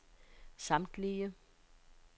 samtlige